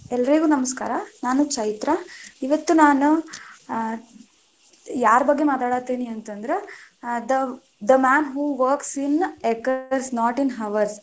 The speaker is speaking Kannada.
ಎಲ್ಲರಿಗೂ ನಮಸ್ಕಾರ, ನಾನು ಚೈತ್ರಾ ಇವತ್ತು ನಾನು ಆ ಯಾರ ಬಗ್ಗೆ ಮಾತಾಡತೇನಂದ್ರ the man who works in acres not in hours .